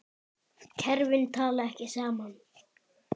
Kerfin tala ekki saman.